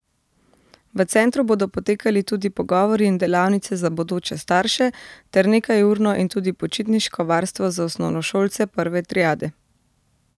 V centru bodo potekali tudi pogovori in delavnice za bodoče starše ter nekajurno in tudi počitniško varstvo za osnovnošolce prve triade.